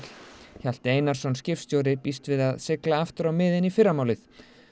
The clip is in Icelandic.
Hjalti Einarsson skipstjóri býst við að sigla aftur á miðin í fyrramálið